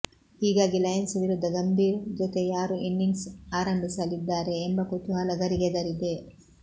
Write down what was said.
ಹೀಗಾಗಿ ಲಯನ್ಸ್ ವಿರುದ್ಧ ಗಂಭೀರ್ ಜೊತೆ ಯಾರು ಇನಿಂಗ್ಸ್ ಆರಂಭಿಸಲಿ ದ್ದಾರೆ ಎಂಬ ಕುತೂಹಲ ಗರಿಗೆದರಿದೆ